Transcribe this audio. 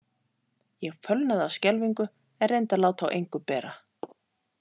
Ég fölnaði af skelfingu en reyndi að láta á engu bera.